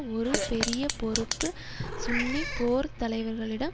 ஒரு பெரிய பொறுப்பு சுன்னி போர்தலைவர்களிடம்